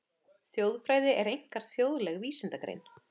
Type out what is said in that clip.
Þjóðfræði er einkar þjóðleg vísindagrein.